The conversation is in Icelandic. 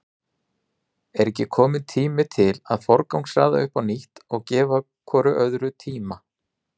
Er ekki kominn tími til að forgangsraða upp á nýtt og gefa hvort öðru tíma?